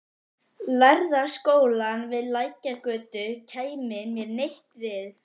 Lærða skólann við Lækjargötu kæmi mér neitt við.